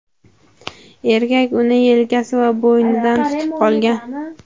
Erkak uni yelkasi va bo‘ynidan tutib qolgan.